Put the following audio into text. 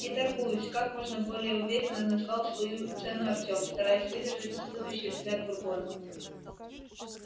не торгуюсь как можно более уверенно назвал свою цену артём стараясь выдержать испытующий взгляд бурбона